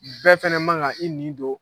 Bɛɛ fana man kan i nin don